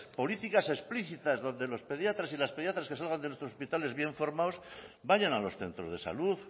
políticas explícitas donde los pediatras y las pediatras que salgan de nuestros hospitales bien formados vayan a los centros de salud